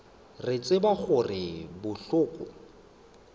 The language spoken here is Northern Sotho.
re tseba gore go bohlokwa